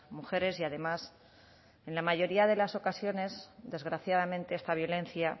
mujeres y además en la mayoría de las ocasiones desgraciadamente esta violencia